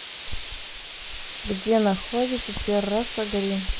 где находится терраса грин